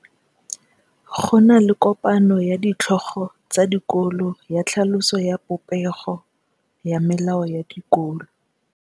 Go na le kopanô ya ditlhogo tsa dikolo ya tlhaloso ya popêgô ya melao ya dikolo.